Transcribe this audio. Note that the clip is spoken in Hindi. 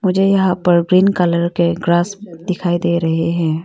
मुझे यहाँ पर ग्रीन कलर के ग्रास दिखाई दे रहे है।